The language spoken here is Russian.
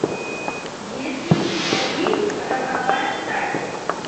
есть ли у тебя фильм роковая страсть